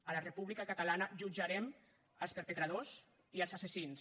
a la república catalana jutjarem els perpetradors i els assassins